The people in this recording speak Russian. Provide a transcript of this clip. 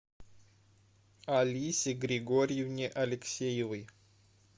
алисе григорьевне алексеевой